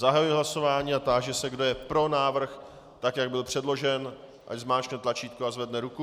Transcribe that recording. Zahajuji hlasování a táži se, kdo je pro návrh, tak jak byl předložen, ať zmáčkne tlačítko a zvedne ruku.